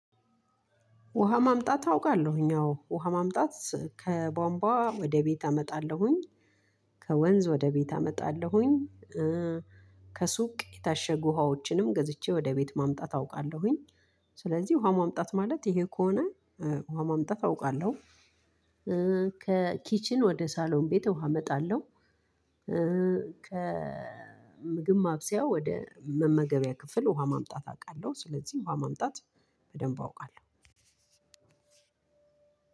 ውሃ ማምጣት አውቃለሁኝ አዎ ውሃ ማምጣት ከቧንቧ ወደቤት አመጣለሁኝ ከወንዝ ወደቤት አመጣለሁኝ። ከሱቅ የታሸጉ ውሃዎችንም ገዝቼ ወደ ቤት ማምጣት አውቃለሁኝ። ስለዚህ ውሃ ማምጣት ማለት ይሄ ከሆነ። ውሃ ማምጣት አውቃለሁ። ከኪችን ወደ ሳሎን ቤት ውሃ አመጣለሁ። ከምግብ ማብሰያ ወደ መመገቢያ ክፍል ውሃ ማምጣት አቃለሁ። ስለዚህ ውሃ ማምጣት በደንብ አውቃለሁ።